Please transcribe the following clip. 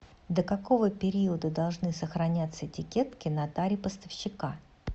до какого периода должны сохраняться этикетки на таре поставщика